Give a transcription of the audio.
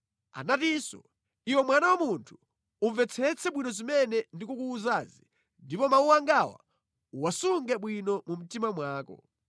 Anatinso, “Iwe mwana wa munthu, umvetsetse bwino zimene ndikukuwuzazi ndipo mawu angawa uwasunge bwino mu mtima mwako.